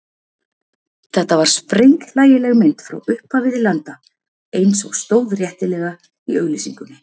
Þetta var sprenghlægileg mynd frá upphafi til enda eins og stóð réttilega í auglýsingunni.